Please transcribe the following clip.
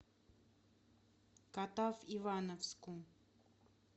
катав ивановску